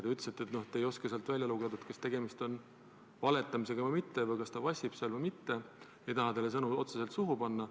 Te ütlesite, et te ei osanud sealt välja lugeda, kas tegemist oli valetamisega või mitte, kas ta vassis seal või mitte – ma ei taha teile sõnu suhu panna.